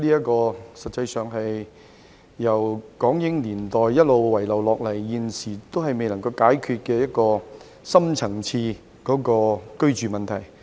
這實際上是由港英年代一直遺留至今，始終未能解決的深層次居住問題。